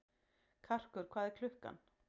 Karkur, hvað er klukkan?